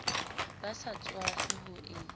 ba sa tswafe ho e